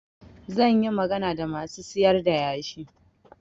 Zan yi magana da masu sayar da yashi.